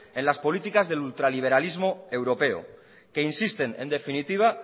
en las políticas del ultraliberalismo europeo que insisten en definitiva